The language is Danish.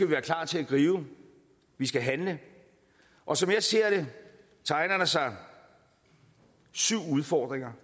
være klar til at gribe vi skal handle og som jeg ser det tegner der sig syv udfordringer